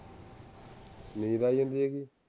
ਨੀਂਦ ਆਈ ਜਾਂਦੀ ਹੇਗੀ